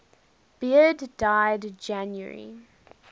beard died january